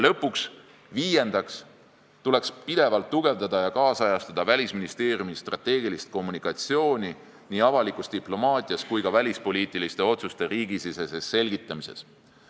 Lõpuks, viiendaks, tuleks pidevalt tugevdada ja nüüdisajastada Välisministeeriumi strateegilist kommunikatsiooni nii avalikus diplomaatias kui ka välispoliitiliste otsuste riigisiseses selgitamises.